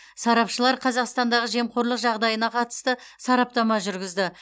сарапшылар қазақстандағы жемқорлық жағдайына қатысты сараптама жүргізді